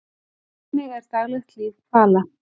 Hvernig er daglegt líf hvala?